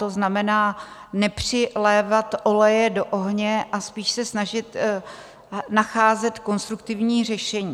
To znamená, nepřilévat oleje do ohně a spíš se snažit nacházet konstruktivní řešení.